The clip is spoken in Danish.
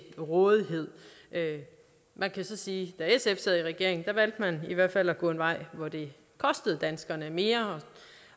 rådighed man kan så sige at da sf sad i regering valgte man i hvert fald at gå en vej hvor det kostede danskerne mere